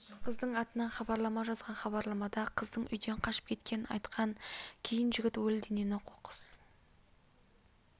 қыздың атынан хабарлама жазған хабарламада қыздың үйден қашып кеткенін айтқан кейін жігіт өлі денені қоқыс